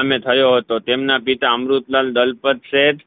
અમને થયો હતો તેમના પિતા અમૃતલાલ દલપતશેઠ